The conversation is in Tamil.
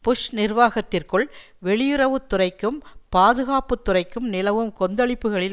புஷ் நிர்வாகத்திற்குள் வெளியுறவுத்துறைக்கும் பாதுகாப்புத்துறைக்கும் நிலவும் கொந்தளிப்புகளில்